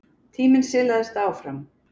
Tíminn silaðist áfram.